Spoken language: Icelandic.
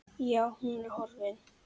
Já, hún er horfin.